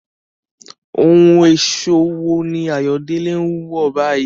Ohun ẹ̀ṣọ́ wo ni Ayodele ń wọ̀ báyìí?